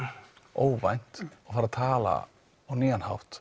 óvænt og fari að tala á nýjan hátt